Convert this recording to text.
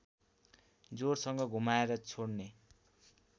जोडसँग घुमाएर छोड्ने